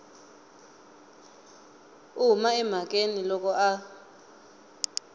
u huma emhakeni loko a